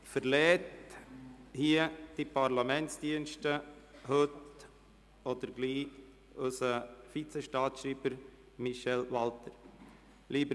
Heute oder bald verlässt unser Vizestaatsschreiber Michel Walthert die Parlamentsdienste.